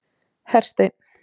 Hersteinn